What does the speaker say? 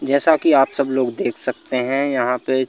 जैसा की आप सब लोग देख सकते हैं यहां पे--